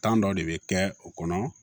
Kan dɔ de bɛ kɛ o kɔnɔ